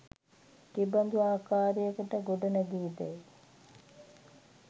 කෙබඳු ආකාරයකට ගොඩ නැගේදැයි